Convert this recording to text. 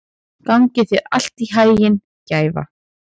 Gangi þér allt í haginn, Gæfa.